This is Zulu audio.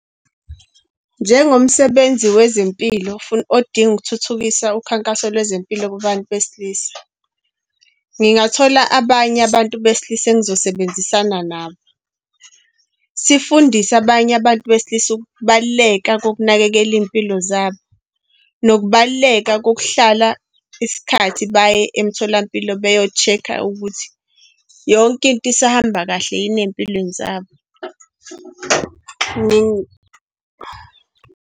Njengomsebenzi wezempilo odinga ukuthuthukisa ukhankaso lwezempilo babantu besilisa, ngingathola abanye abantu besilisa engizosebenzisana nabo, sifundise abanye abantu besilisa ukubaluleka kokunakekela iy'mpilo zabo, nokubaluleka kokuhlala isikhathi baye emtholampilo beyocheka ukuthi yonke into isahamba kahle yini ey'mpilweni zabo .